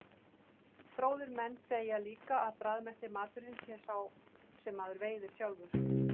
Fróðir menn segja líka að bragðbesti maturinn sé sá sem maður veiðir sjálfur.